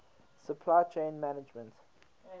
supply chain management